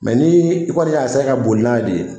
ni i kɔni y' a ka boli n'a ye de